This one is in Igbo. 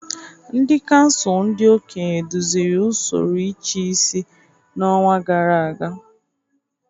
Ndị kansụl ndị okenye duziri usoro ịchịisi n'ọnwa gara aga